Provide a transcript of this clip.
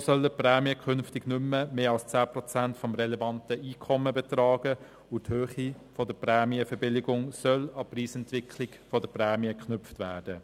So sollen die Prämien künftig nicht mehr als 10 Prozent des relevanten Einkommens betragen, und die Höhe der Prämienverbilligung soll an die Preisentwicklung der Prämien geknüpft werden.